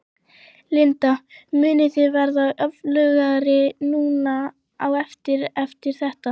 Linda: Munið þið verða öflugri núna á eftir, eftir þetta?